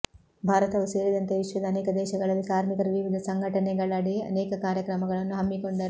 ಭಾರತವು ಸೇರಿದಂತೆ ವಿಶ್ವದ ಅನೇಕ ದೇಶಗಳಲ್ಲಿ ಕಾರ್ಮಿಕರು ವಿವಿಧ ಸಂಘಟನೆಗಳಡಿ ಅನೇಕ ಕಾರ್ಯಕ್ರಮಗಳನ್ನು ಹಮ್ಮಿಕೊಂಡರು